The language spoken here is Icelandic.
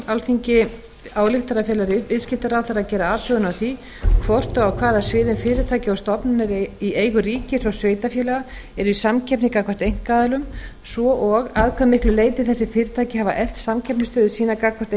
alþingi ályktar að fela viðskiptaráðherra að gera athugun á því hvort og á hvaða sviðum fyrirtæki og stofnanir í eigu ríkis og sveitarfélaga eru í samkeppni gagnvart einkaaðilum svo og að hve miklu leyti þessi fyrirtæki hafi eflt samkeppnisstöðu sína gagnvart